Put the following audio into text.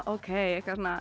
að